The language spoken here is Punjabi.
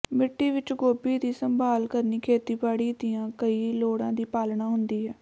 ਮਿੱਟੀ ਵਿਚ ਗੋਭੀ ਦੀ ਸੰਭਾਲ ਕਰਨੀ ਖੇਤੀਬਾੜੀ ਦੀਆਂ ਕਈ ਲੋੜਾਂ ਦੀ ਪਾਲਣਾ ਹੁੰਦੀ ਹੈ